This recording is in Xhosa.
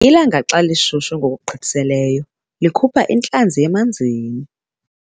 Ilanga xa lishushu ngokugqithiseleyo likhupha intlanzi emanzini.